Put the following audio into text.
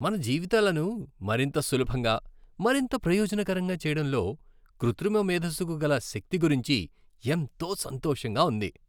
మన జీవితాలను మరింత సులభంగా, మరింత ప్రయోజనకరంగా చేయడంలో కృత్రిమ మేధస్సుకు గల శక్తి గురించి ఎంతో సంతోషంగా ఉంది.